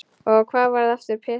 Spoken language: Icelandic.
Og hann varð aftur Pési.